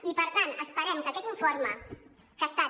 i per tant esperem que aquest informe que ha estat